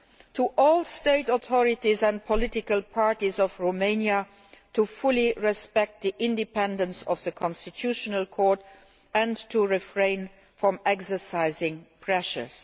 to all state authorities and political parties of Romania to fully respect the independence of the constitutional court and to refrain from exercising pressures'.